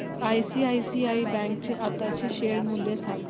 ICICI bank चे आताचे share मूल्य सांगा